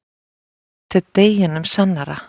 En þetta er deginum sannara.